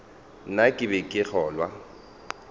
na ke be ke kgolwa